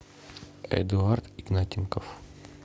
эдуард игнатенков